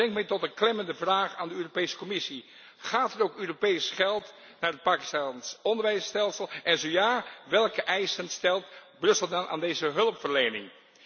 Dat brengt mij tot een klemmende vraag aan de Europese Commissie gaat er ook Europees geld naar het Pakistaans onderwijsstelsel en zo ja, welke eisen stelt Brussel dan aan deze hulpverlening?